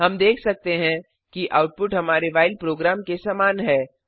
हम देख सकते हैं कि आउटपुट हमारे व्हाइल प्रोग्राम के समान है